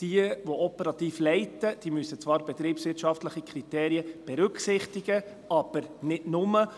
Jene, die operativ leiten, müssen zwar betriebswirtschaftliche Kriterien berücksichtigen, aber nicht nur.